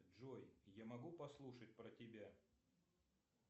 джой я могу послушать про тебя